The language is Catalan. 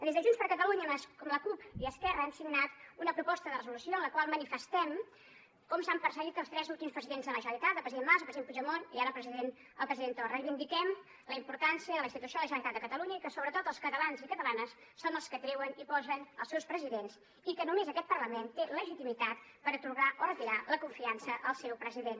des de junts per catalunya amb la cup i esquerra hem signat una proposta de resolució amb la qual manifestem com s’han perseguit els tres últims presidents de la generalitat el president mas el president puigdemont i ara el president torra i vindiquem la importància de la institució de la generalitat de catalunya i que sobretot els catalans i catalanes són els que treuen i posen els seus presidents i que només aquest parlament té legitimitat per atorgar o retirar la confiança al seu president